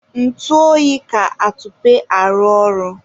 ntụ oyi ka atupe arụ ọrụ